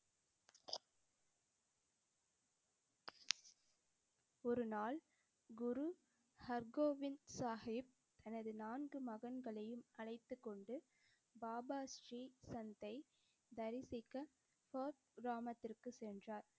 ஒரு நாள், குரு ஹர்கோவிந்த் சாஹிப் தனது நான்கு மகன்களையும் அழைத்துக் கொண்டு பாபா ஶ்ரீ சந்த்தை தரிசிக்க பார்த் கிராமத்திற்கு சென்றார்.